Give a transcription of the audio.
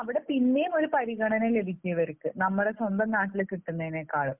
അവിടെ പിന്നെയും ഒരു പരിഗണന ലഭിക്കും ഇവർക്ക്. നമ്മുടെ സ്വന്തം നാട്ടിൽ കിട്ടുന്നതിനേക്കാൾ